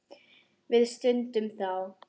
Við studdum þá!